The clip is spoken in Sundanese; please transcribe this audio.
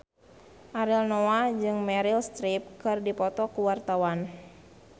Ariel Noah jeung Meryl Streep keur dipoto ku wartawan